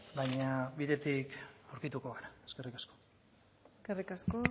baina bidetik aurkituko gara eskerrik asko eskerrik asko